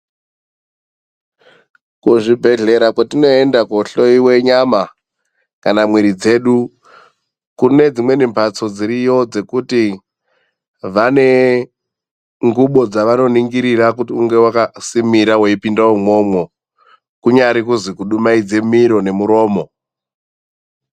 Kuzvibhedhlera kwatinoende kunohloiwa nyama kana mwiri dzedu, kune dzimweni mhatso dziriyo dzekuti vane ngubo dzawanoningirira kuti unge vakasimira uchipinde imomo, kunyari kuzi kudumaidza miro nemuromo.